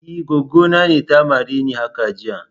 E, goggo na ne ta mare ni haka jiya.